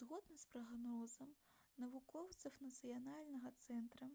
згодна з прагнозам навукоўцаў нацыянальнага цэнтра